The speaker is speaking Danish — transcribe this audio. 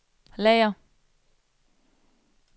lager